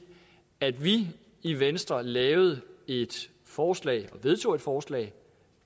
at vi i venstre lavede et forslag og vedtog et forslag